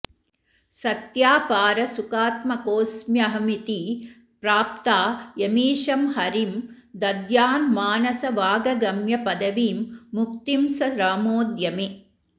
सत्यापारसुखात्मकोऽस्म्यहमिति प्राप्ता यमीशं हरिं दद्यान्मानसवागगम्यपदवीं मुक्तिं स रामोऽद्य मे